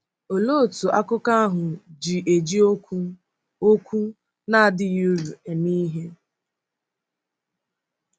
Òlee otú akụkọ ahụ ji eji okwu “ okwu “ na-adịghị uru ” eme ihe?